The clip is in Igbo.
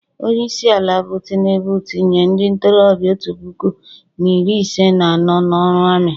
Onye isiala bụ tinubu etinye ndị ntorobịa otu puku na iri ise na anọ n'ọrụ ami